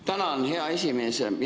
Tänan, hea esimees!